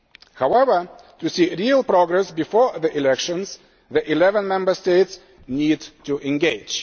However, to see real progress before the elections, the eleven Member States need to engage.